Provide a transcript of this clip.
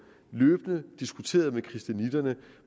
diskuteret med christianitterne